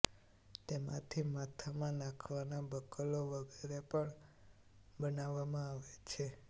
તેમાથી માથામાં નાંખવાનાં બકલો વગેરે પણ બનાવવામાં આવે છે